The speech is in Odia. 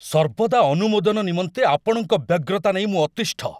ସର୍ବଦା ଅନୁମୋଦନ ନିମନ୍ତେ ଆପଣଙ୍କ ବ୍ୟଗ୍ରତା ନେଇ ମୁଁ ଅତିଷ୍ଠ।